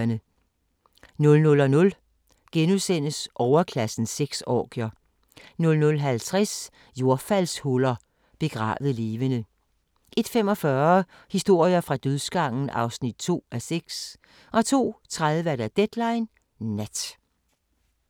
00:00: Overklassens sexorgier * 00:50: Jordfaldshuller – begravet levende 01:45: Historier fra dødsgangen (2:6) 02:30: Deadline Nat